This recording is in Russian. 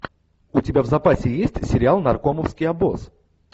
у тебя в запасе есть сериал наркомовский обоз